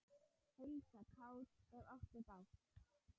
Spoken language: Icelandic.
Heilsa kátt, ef áttu bágt.